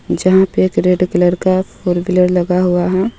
जहा पे एक रेड कलर का फॉर वीलर लगा हुआ हे.